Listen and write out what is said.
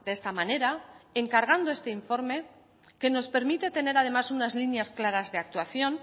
esta manera encargando este informe que nos permite tener además unas líneas claras de actuación